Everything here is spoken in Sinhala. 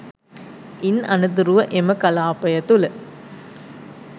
ඉන් අනතුරුව එම කළාපය තුළ